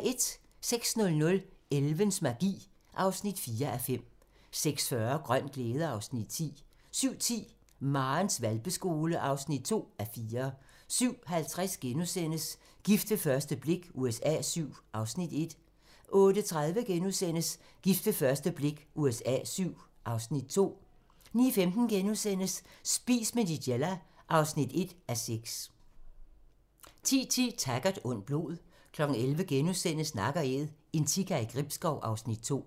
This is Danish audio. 06:00: Elvens magi (4:5) 06:40: Grøn glæde (Afs. 10) 07:10: Marens hvalpeskole (2:4) 07:50: Gift ved første blik USA VII (Afs. 1)* 08:30: Gift ved første blik USA VII (Afs. 2)* 09:15: Spis med Nigella (1:6)* 10:10: Taggart: Ondt blod 11:00: Nak & Æd - en sika i Gribskov (Afs. 2)*